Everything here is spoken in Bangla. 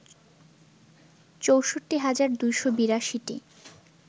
৬৪ হাজার ২৮২টি